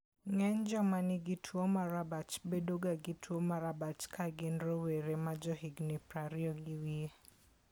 Ng'eny joma nigi tuwo mar abach bedoga gi tuwo mar abach ka gin rowere ma johigini 20 gi wiye.